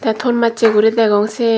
tey ton massey guri degong siye.